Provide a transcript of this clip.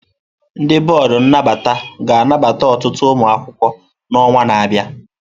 Ndị bọọdụ nnabata ga-anabata ọtụtụ ụmụ akwụkwọ n'ọnwa na-abịa.